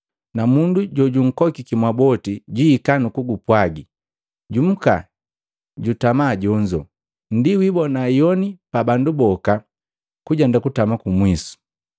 na mundu jojunkokiki mwaboti jwihika nu kukupwagi, ‘Jumuka jutama jonzo.’ Ndi wiibona ihoni pa bandu boka kujenda kutama kumwisu.